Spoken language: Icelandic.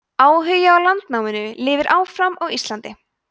áhugi á landnáminu lifði áfram á íslandi